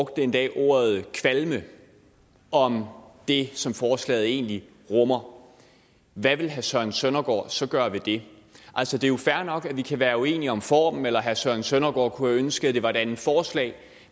endda ordet kvalme om det som forslaget egentlig rummer hvad vil herre søren søndergaard så gøre ved det altså det er jo fair nok at vi kan være uenige om formen eller at herre søren søndergaard kunne have ønsket at det var et andet forslag